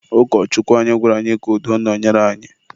Ụkọchukwu anyị gwara anyị ka udo nọnyere anyị..